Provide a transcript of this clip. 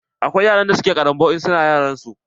Akwai wasu yara da ke ƙaranbau in su na yaranta.